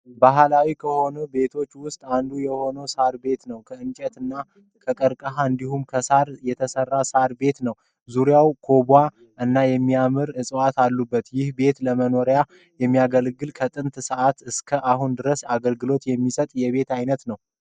በህላዊ ከሆኑ ቤቶች ውስጥ አንዱ የሆነው ሳር ቤት ነው። ከእንጨት እና ከቀርቀሀ እንዲሁም ከሳር የተሰራ ሳር ቤት ነው። ዙርያውን ኮባ እና የሚያማምሩ እፅዋቶች አሉበት። ይህ ቤት ለመኖሪያነት የሚያገለግል ከጥንት ሰዓት እስከ አሁን ድረስ አገልግሎት የሚሰጥ የቤት አይነት ነው።